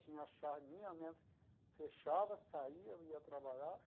Tinha a chave minha né, fechava, saía, eu ia trabalhar.